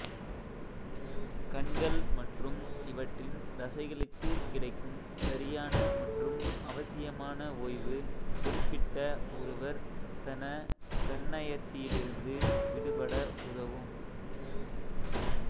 கண்கள் மற்றும் இவற்றின் தசைகளுக்குக் கிடைக்கும் சரியான மற்றும் அவசியமான ஒய்வு குறிப்பிட்ட ஒருவர் தன கண்ணயர்ச்சியிலிருந்து விடுபட உதவும்